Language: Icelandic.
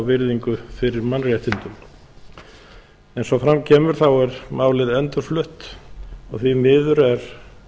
virðingu fyrir mannréttindum eins og fram kemur er málið endurflutt og því miður er